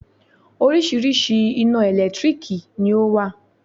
Oríṣiríṣi ina ẹ̀lẹ́tírìkì ni ọ wá.